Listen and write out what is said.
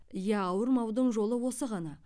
иә ауырмаудың жолы осы ғана